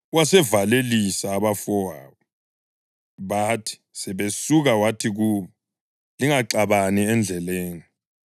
Wasevalelisa abafowabo, bathi sebesuka wathi kubo, “Lingaxabani endleleni!”